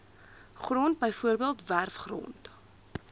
grond bv werfgrond